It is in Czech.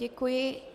Děkuji.